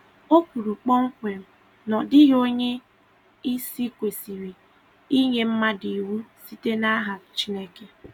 O kwuru kpọmkwem na ọ dịghị onye isi kwesịrị inye mmadụ iwu site n'aha Chineke.